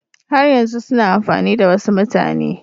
Har yanzu suna amfani da wasu mutane